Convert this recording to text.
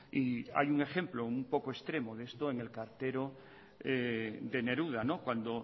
y hay un ejemplo un poco extremo de esto en el cartero de neruda cuando